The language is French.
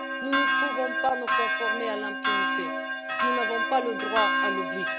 Nous ne pouvons pas nous conformer à l'impunité, nous n'avons pas le droit à l'oubli.